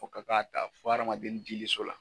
O ka ka ta dennin jigiso la.